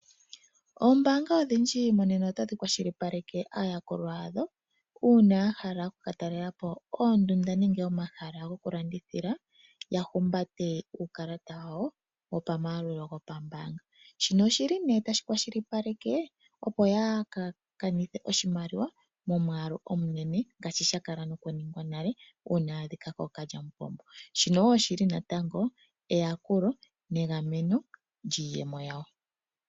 Oombanga odhindji monena otadhi kwashilipaleke aayakulwa yadho una ya hala oku katalelapo oondunda nenge omahala gokulandithila ya humbate uukalata wawo wopamayalulo gopambanga. Shino oshili ne tashi kwashilipaleke opo yaka ka nithe oshimaliwa momwalu omunene ngashi shakalako noku ningwa nale una ya adhika ko kalyamupombo, shino wo oshili natango eyakulo negameno lyiiyemo yawo.